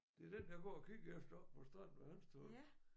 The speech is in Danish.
Det er den jeg går og kigger efter på stranden ved Hanstholm